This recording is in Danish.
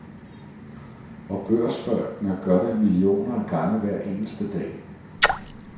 Og børsfolkene gør det millioner af gange hver eneste dag.